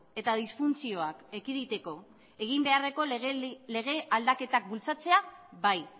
eta disfuntzioak ekiditeko egin beharreko lege aldaketak bultzatzea bai